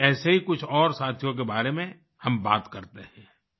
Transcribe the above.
आज भी ऐसे ही कुछ और साथियों के बारे में हम बात करते हैं